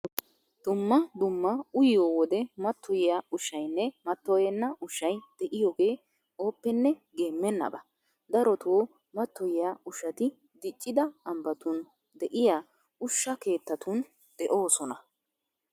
Dumma dumma uyiyo wode mattoyiya ushshaynne mattoyenna ushshay de'iyogee ooppenne geemmennaba. Darotoo mattoyiya ushshati diccida ambbatun de'iya ushsha keettatun de'oosona.